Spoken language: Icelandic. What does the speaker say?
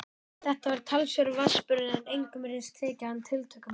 Þetta var talsverður vatnsburður en engum virtist þykja hann tiltökumál.